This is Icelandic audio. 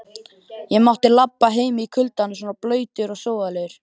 Ég mátti labba heim í kuldanum svona blautur og sóðalegur.